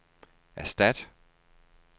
erstat